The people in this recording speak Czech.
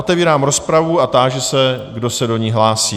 Otevírám rozpravu a táži se, kdo se do ní hlásí.